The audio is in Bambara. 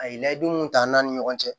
A ye layidu mun ta an ni ɲɔgɔn cɛ